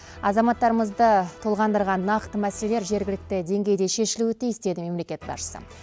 азаматтарымызды толғандырған нақты мәселелер жергілікті деңгейде шешілуі тиіс деді мемлекет басшысы